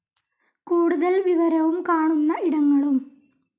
കൂടുതൽ വിവരവും കാണുന്ന ഇടങ്ങളും